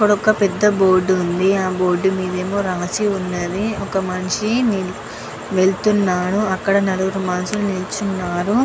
ఇక్కడ ఒక పేద బోర్డు వుంది ఆ బోర్డు మేధా ఏదో రాసి వున్నది ఒక మనిషి వేల్లుతునాడు. అక్కడ నలుగురు మనుషులు వెళ్తున్నారు.